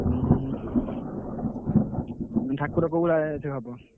ହୁଁ ହୁଁ ହୁଁ ଠାକୁର ଫୋପଡା ସେ ହବ।